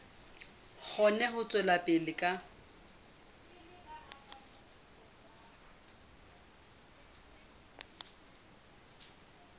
kgone ho tswela pele ka